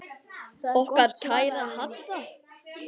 Okkar kæra Hadda.